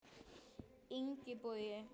Ingi Bogi.